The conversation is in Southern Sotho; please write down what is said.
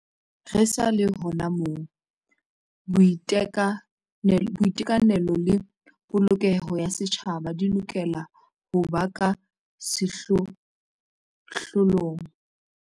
Re sa le hona moo, boiteka nelo le polokeho ya setjhaba di lokela ho ba ka sehlohlo long.